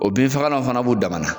O bin fagala fana b'u dama na